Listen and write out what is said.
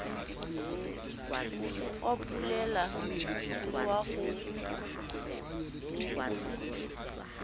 wa poulelo le wa ho